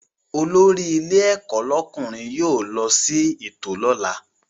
Olórí ilé ẹ̀kọ́ lọ́kùnrin yóò lọ sí ètò lọ́la